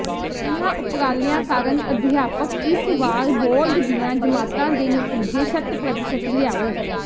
ਇਨ੍ਹਾਂ ਉਪਰਾਲਿਆਂ ਕਾਰਨ ਅਧਿਆਪਕ ਇਸ ਵਾਰ ਬੋਰਡ ਦੀਆਂ ਜਮਾਤਾਂ ਦੇ ਨਤੀਜੇ ਸ਼ਤ ਪ੍ਰਤੀਸ਼ਤ ਲਿਆਉ